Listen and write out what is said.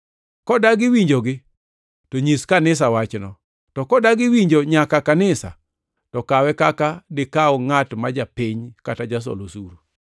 Kodagi winjogi, to nyis kanisa wachno; to kodagi winjo nyaka kanisa, to kawe kaka dikaw ngʼat ma japiny kata jasol osuru.